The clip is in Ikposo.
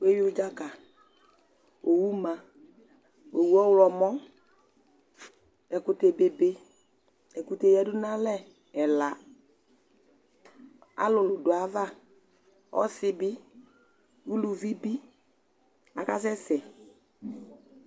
Wuewui udza ka , owu ma, owu ɔwlɔmɔ, ɛkutɛ bebe, ɛkutɛ yadu nu alɛ ɛla, alulu du ayu ava, ɔsi bi, uluvi bi a ka sɛ sɛ